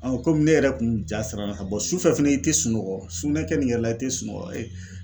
kɔmi ne yɛrɛ kun ja sara la ka bɔ sufɛ fɛnɛ i tɛ sunɔgɔ sulunɛ nin yɛrɛ la i tɛ sunɔgɔ.